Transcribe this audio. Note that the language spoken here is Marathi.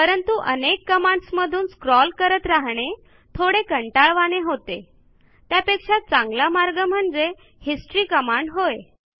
परंतु अनेक कमांडस मधून स्क्रॉल करत राहणे थोडे कंटाळवाणे होते त्यापेक्षा चांगला मार्ग म्हणजे हिस्टरी कमांड होय